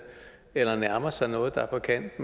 eller nærmer sig noget der er på kant